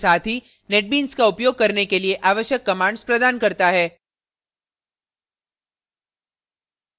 netbeans का उपयोग करने के लिए आवश्यक कमांड्स प्रदान करता है